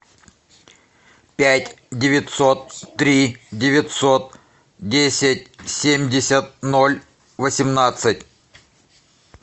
пять девятьсот три девятьсот десять семьдесят ноль восемнадцать